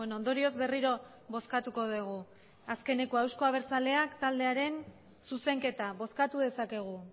ondorioz berriro bozkatuko dugu azkenekoa euzko abertzaleak taldearen zuzenketa bozkatu dezakegu